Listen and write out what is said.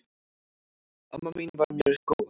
Amma mín var mér mjög góð.